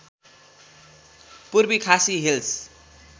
Purvi Khasi hills